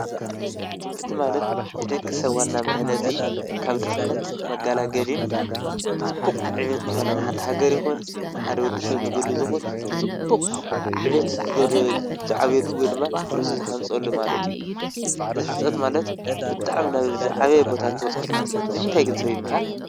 ትምህርቲ ማለት ንደቂ ሰብ ዋና ምህናፅ ካብ ድኽነት መጋላገለን ንጽቡቕ ዕቤት ዝኾነ ንሓንቲ ሃገር ይኹን ንሓደ ወዲ ሰብ ንግሉ ዝኾን ብፅቡቕ ዕቤትዝዓብየሉ ወይ ድማ ርእሱ ዝሃንፀሉ ማለት እዩ፡፡ ህንጸት ማለት ብጣዕሚ ናብ ዝዓበየ ቦታ ትበፅሓሉ ማለት ንምንታይ ግን ሰብ ይመሃር?